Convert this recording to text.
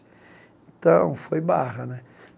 Então, foi barra, né?